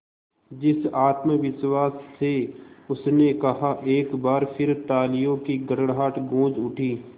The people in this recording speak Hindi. जिस आत्मविश्वास से उसने कहा एक बार फिर तालियों की गड़गड़ाहट गूंज उठी